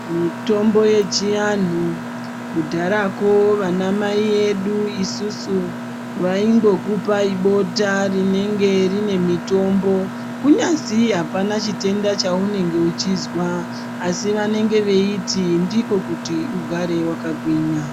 Mitombo yechi anhu kudharako vana mai edu isusu vaingokupai bota rinenge rine mitombo kunyasi apana chitenda chaunenge uchizwa asi vanenge veiti ndiko kuti ugare wakagwinya.